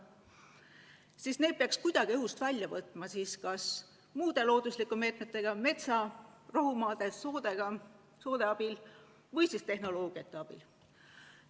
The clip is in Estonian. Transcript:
Need kogused peaks kuidagi õhust välja võtma kas mingite looduslike meetmetega – metsa, rohumaade ja soode abil – või siis tehnoloogiate abil.